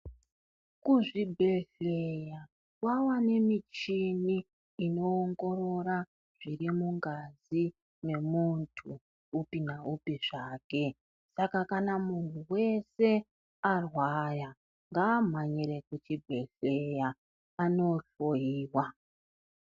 Kuzvibhedhlera kwawa nemichini inoongorora zvirimungazi memuntu upi naupi zvake. Saka kana muntu weshe akange arwaya ngaamhanyire kuchibhedhlera anohloyiwa.